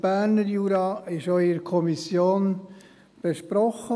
den Berner Jura wurde auch in der Kommission besprochen.